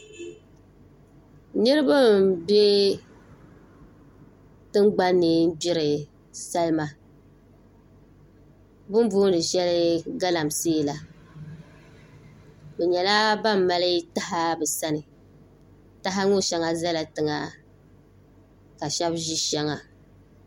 niraba n bɛ tingbanni gbiri salima bi ni booni shɛli galamsee la bi nyɛla ban mali taha bi sani taha ŋo shɛli ʒɛla tiŋa ka shab ʒi shɛŋa